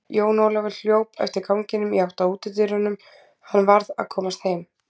Jón Ólafur hljóp eftir ganginum í átt að útidyrunum, hann varð að komast heim.